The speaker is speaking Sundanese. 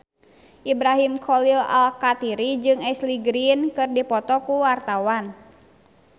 Ibrahim Khalil Alkatiri jeung Ashley Greene keur dipoto ku wartawan